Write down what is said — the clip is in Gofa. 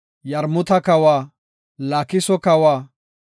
Yarmuta kawa, Laakiso kawa,